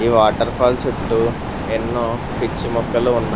Water falls చుట్టూ ఎన్నో పిచ్చి మొక్కలు ఉన్నాయి.